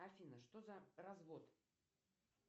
афина что за развод